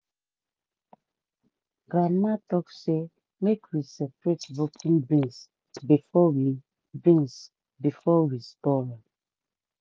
grandma talk say make we separate broken beans before we beans before we store am.